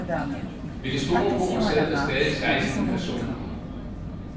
Ved det store bord sad der stadig seksten personer.